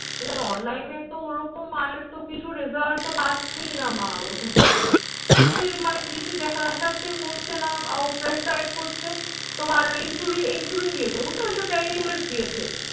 এবার online এ তো ওরকম আর তো কিছু result তো পাচ্ছেই না মা ওরকম কিছু। কিছুই মানে কিছু দেখাচ্ছে কমছে না আরো prescribe করছে তোমার insulin insulin দিয়েছে। বুঝতে পেরেছো? ten unit দিয়েছে।